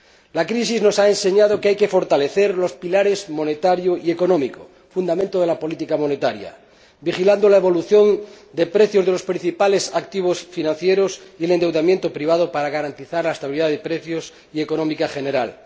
La crisis nos ha enseñado que hay que fortalecer los pilares monetario y económico fundamento de la política monetaria vigilando la evolución de precios de los principales activos financieros y el endeudamiento privado, para garantizar la estabilidad de precios y de la economía en general.